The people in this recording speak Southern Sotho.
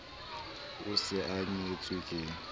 o se a nyetswe ke